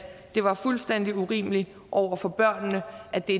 det var fuldstændig urimeligt over for børnene at det